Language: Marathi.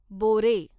बोरे